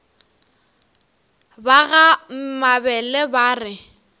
ba ga mabele ba re